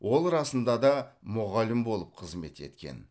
ол расында да мұғалім болып қызмет еткен